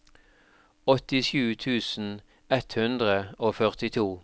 åttisju tusen ett hundre og førtito